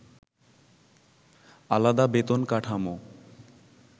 আলাদা বেতন কাঠামো